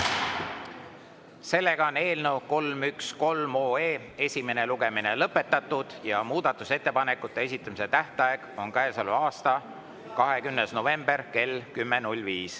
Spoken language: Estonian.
Eelnõu 313 esimene lugemine on lõpetatud ja muudatusettepanekute esitamise tähtaeg on käesoleva aasta 20. november kell 10.05.